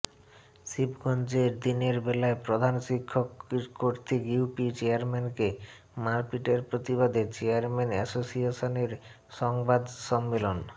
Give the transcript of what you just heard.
শিবগঞ্জের দিনের বেলায় প্রধান শিক্ষক কর্তৃক ইউপি চেয়ারম্যানকে মারপিট এর প্রতিবাদে চেয়ারম্যান এসোসিয়েশনের সংবাদ সম্মেলন